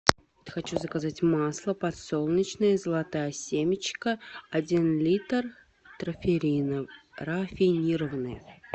хочу заказать масло подсолнечное золотая семечка один литр рафинированное